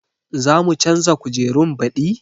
Za mu canza kujerun baɗi?